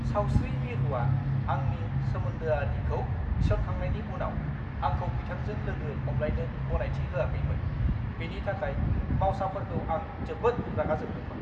सावस्रि मिरुआ आंनि सोमोन्दोआरिखौ थिसनखांनायनि उनाव आंखौ बिथांजों लोगो हमलायनो गनायथि होआखैमोन। बेनि थाखाय मावसाफोरखौ आं जोबोद रागा जोंदोंमोन!